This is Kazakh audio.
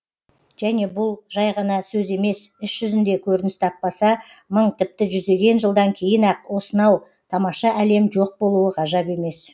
және бұл жай ғана сөз емес іс жүзінде көрініс таппаса мың тіпті жүздеген жылдан кейін ақ осынау тамаша әлем жоқ болуы ғажап емес